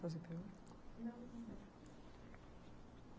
Mais uma pergunta? Não, não.